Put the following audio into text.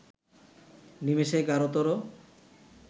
নিমেষে গাঢ়তর